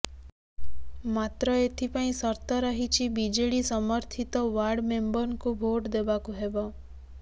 ମାତ୍ର ଏଥିପାଇଁ ସର୍ତ ରହିଛି ବିଜେଡି ସମର୍ଥିତ ୱାର୍ଡ ମେମ୍ବରଙ୍କୁ ଭୋଟ୍ ଦେବାକୁ ହେବ